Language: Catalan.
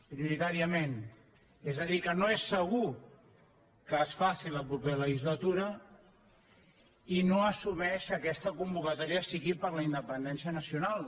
prioritàriament és a dir que no és segur que es faci la propera legislatura i no assumeix que aquesta convocatòria sigui per a la independència nacional